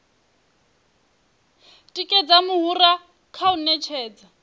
tikedza muhura kha u ṅetshedza